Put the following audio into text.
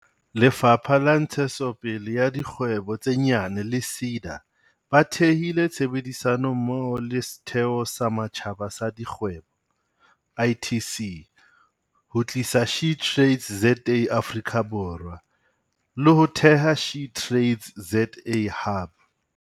Lefapha la Ntshetsopele ya Dikgwebo tse Nyane le SEDA ba thehile tshebedisano mmoho le Setheo sa Matjhaba sa Dikgwebo, ITC, ho tlisa SheTradesZA Afrika Borwa, le ho theha SheTradesZA Hub.